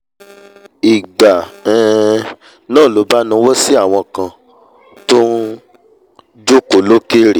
ìgbà um náà ló bá nawọ́ sí àwọn kan tọ́n um jòkó lókèrè